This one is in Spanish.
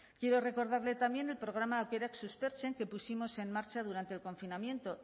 quiero recordarle también el programa aukerak suspertzen que pusimos en marcha durante el confinamiento